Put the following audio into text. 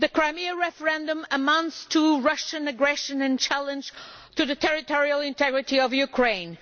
The Crimea referendum amounts to Russian aggression and a challenge to the territorial integrity of Ukraine.